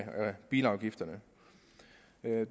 bilafgifterne